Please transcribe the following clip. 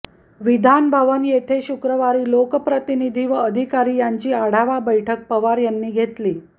विधानभवन येथे शुक्रवारी लोकप्रतिनिधी व अधिकारी यांची आढावा बैठक पवार यांनी घेतली